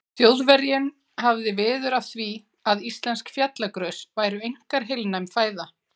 Þjóðverjinn hafði veður af því, að íslensk fjallagrös væru einkar heilnæm fæða.